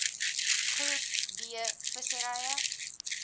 groep d visserye